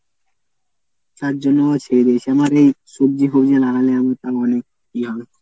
তার জন্য ও ছেড়ে দিয়েছি আমার এই সবজি ফবজি লাগালে আমি তাও অনেক ইয়ে হবে।